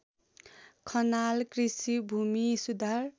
खनाल कृषि भूमिसुधार